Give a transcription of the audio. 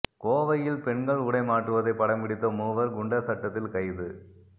கோவையில் பெண்கள் உடை மாற்றுவதை படம்பிடித்த மூவர் குண்டர் சட்டத்தில் கைது